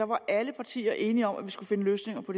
var alle partier enige om at vi skulle finde løsninger på